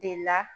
De la